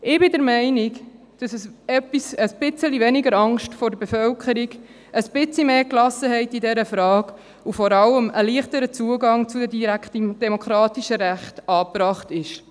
– Ich bin der Meinung, dass ein bisschen weniger Angst vor der Bevölkerung, ein bisschen mehr Gelassenheit in dieser Frage und vor allem ein leichterer Zugang zu den direktdemokratischen Rechten angebracht ist.